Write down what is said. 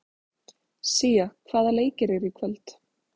Sía, hvaða leikir eru í kvöld?